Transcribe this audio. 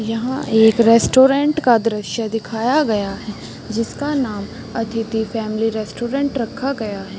यहाँ एक रेस्टोरेंट का दृश्य दिखाया गया है जिसका नाम अतिथि फॅमिली रेस्टोरेंट रखा गया है।